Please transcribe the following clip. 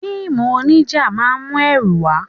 Fíìmù onija máa ń mú ẹrù wá.